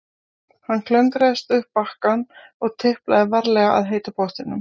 Hann klöngraðist upp á bakkann og tiplaði varlega að heita pottinum.